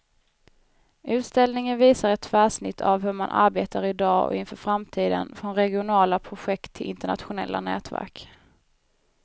Utställningen visar ett tvärsnitt av hur man arbetar i dag och inför framtiden, från regionala projekt till internationella nätverk.